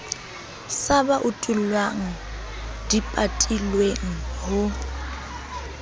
sa ba utullang dipatilweng ho